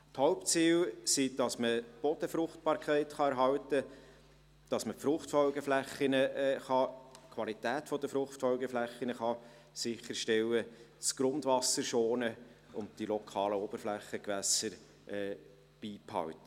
Die Hauptziele sind, dass die Bodenfruchtbarkeit erhalten werden kann, dass man die Qualität der Fruchtfolgeflächen sicherstellen kann, das Grundwasser schonen kann und die lokalen Oberflächengewässer beibehalten kann.